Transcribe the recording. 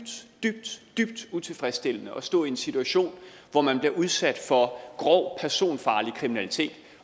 dybt utilfredsstillende at stå i en situation hvor man bliver udsat for grov personfarlig kriminalitet